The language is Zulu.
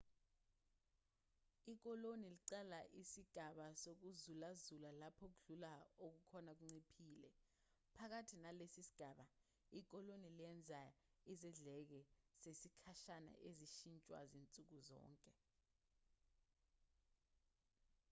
ikoloni liqala isigaba sokuzulazula lapho ukudla okukhona kunciphile phakathi nalesi sigaba ikoloni lenza izidleke zesikhashana ezishintshwa zinsuku zonke